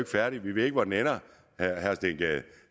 færdig vi ved ikke hvor den ender